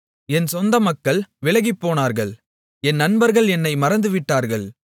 என் சொந்தமக்கள் விலகிப்போனார்கள் என் நண்பர்கள் என்னை மறந்துவிட்டார்கள்